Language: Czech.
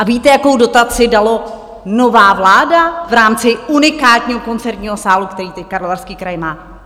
A víte, jakou dotaci dala nová vláda v rámci unikátního koncertního sálu, který teď Karlovarský kraj má?